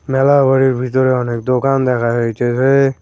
মেলা ঘরের ভিতরে অনেক দোকান দেখা যাইতেছে।